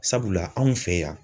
Sabula anw fɛ yan